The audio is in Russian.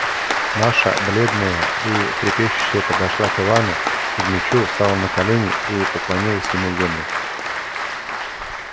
маша бледная и трепещущая подошла к ивану кузмичу стала на колени и поклонилась ему в землю